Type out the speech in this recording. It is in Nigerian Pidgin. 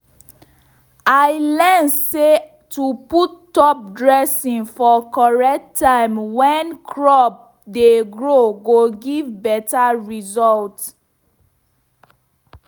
i learn say to put top dressing for correct time when crop dey grow go give better result.